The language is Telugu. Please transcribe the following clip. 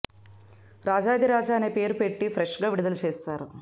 రాజాధిరాజా అనే పేరు పెట్టి ఫ్రెష్ గా విడుదల చేశారు